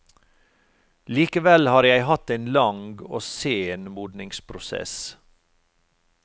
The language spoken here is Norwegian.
Likevel har jeg hatt en lang og sen modningsprosess.